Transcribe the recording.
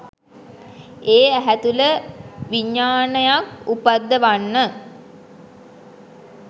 ඒ ඇහැ තුළ විඤ්ඤාණයක් උපද්දවන්න